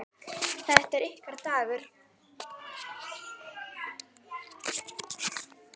Þetta er ykkar dagur.